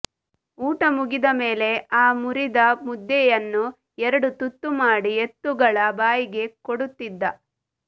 ಊಟ ಮುಗಿದ ಮೇಲೆ ಆ ಮುರಿದ ಮುದ್ದೆಯನ್ನು ಎರಡು ತುತ್ತು ಮಾಡಿ ಎತ್ತುಗಳ ಬಾಯಿಗೆ ಕೊಡುತ್ತಿದ್ದ